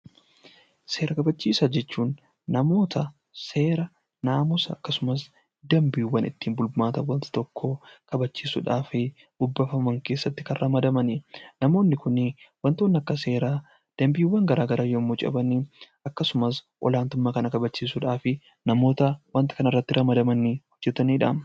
Seera kabachiisaa jechuun namoota seera, naamusa yookaan dambiiwwan ittiin bulmaata waan tokkoo kabachiisuudhaaf keessatti kan ramadamani. Namoonni Kun waantonni akka seeraa, dambiiwwan garaagaraa yemmuu caban akkasumas olaantummaa namoota waanta kana irratti ramadamaniin hojjetamanidha.